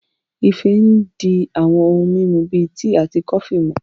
Ife ń di àwọn ohun mímu bíi tíì àti kọfí